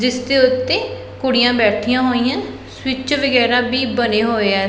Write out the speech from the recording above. ਜਿੱਸ ਦੇ ਓੱਤੇ ਕੁੜੀਆਂ ਬੈਠੀਆਂ ਹੋਈਆਂ ਸਵਿੱਚ ਵਗੈਰਾ ਵੀ ਬਣਿਆ ਹੋਇਆ।